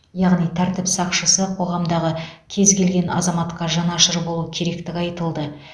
яғни тәртіп сақшысы қоғамдағы кез келген азаматқа жанашыр болу керектігі айтылды